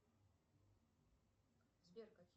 сбер какие